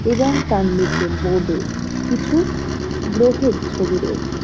এবং তাঁর নীচে বোর্ড -এ কিছু-উ গ্রহের ছবি রয়েছে।